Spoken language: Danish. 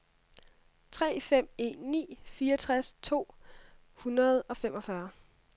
tre fem en ni fireogtres to hundrede og femogfyrre